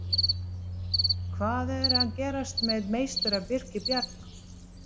Hvað er að gerast með meistara Birki Bjarna?